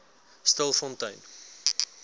stilfontein